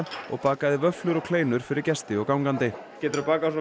og bakaði vöfflur og kleinur fyrir gesti og gangandi geturðu bakað á